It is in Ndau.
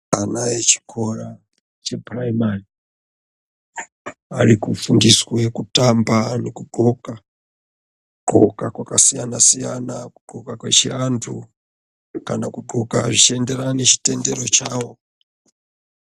Ana echikora chepuraimari arikufundiswe kutamba nekudloka yakasiyana siyana kudloka kwechiantu kana kudloka zvinoenderana nechitendero chavo.